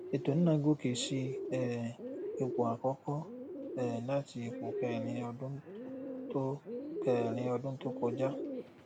ètò náà gòkè sí um ipò àkọkọ um láti ipò kẹrin ọdún tó kẹrin ọdún tó kọjá